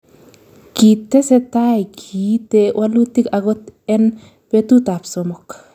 Kitesetai kiite walutik agot en betut ab somok